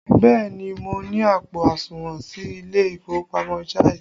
Bẹẹ ni, mo ní àpò àsùnwọ̀n sí ilé ìfowópamọ́ Jaiz